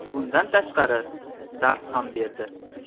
Bundan tashqari, dars ham berdi.